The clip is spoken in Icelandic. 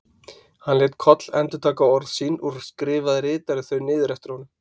Hann lét Koll endurtaka orð sín og skrifaði ritarinn þau niður eftir honum.